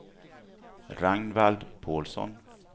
Ragnvald Pålsson